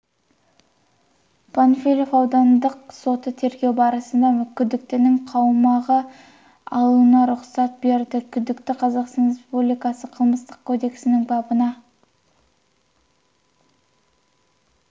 панфилов аудандық соты тергеу барысында күдіктінің қамауға алынуына рұқсат берді күдікті қазақстан республикасы қылмыстық кодексінің бабына